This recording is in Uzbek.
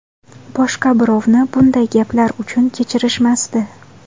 Boshqa birovni bunday gaplar uchun kechirishmasdi.